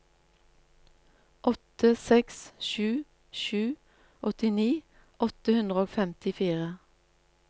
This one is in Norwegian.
åtte seks sju sju åttini åtte hundre og femtifire